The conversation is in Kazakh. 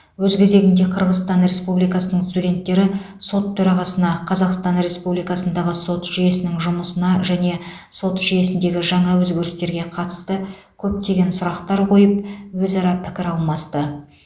өз кезегінде қырғызстан республикасының студенттері сот төрағасына қазақстан республикасындағы сот жүйесінің жұмысына және сот жүйесіндегі жаңа өзгерістерге қатысты көптеген сұрақтар қойып өзара пікір алмасты